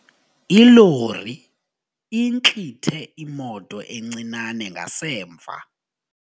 Ilori intlithe imoto encinane ngasemva.